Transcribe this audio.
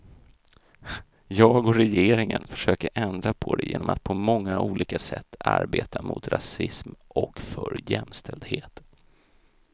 Jag och regeringen försöker ändra på det genom att på många olika sätt arbeta mot rasism och för jämställdhet.